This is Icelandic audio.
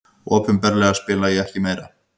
Opinberlega spila ég ekki meira.